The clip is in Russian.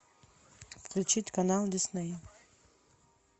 включить канал дисней